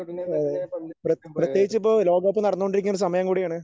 അതെ അതെ പ്ര പ്രത്യേകിച്ചിപ്പോ ലോകകപ്പ് നടന്നുകൊണ്ടിരിക്കുന്ന സമയം കൂടിയാണ്.